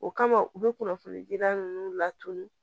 O kama u bɛ kunnafoni jida ninnu laturu